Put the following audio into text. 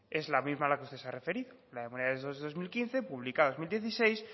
es la misma a la que usted se ha referido la memoria de dos mil quince publicada en dos mil dieciséis